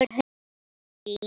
Sólin skín.